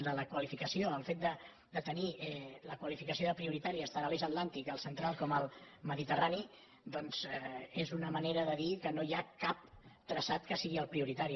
de la qualificació el fet de tenir la qualificació de prioritàries tant a l’eix atlàntic al central com al mediterrani doncs és una manera de dir que no hi ha cap traçat que sigui el prioritari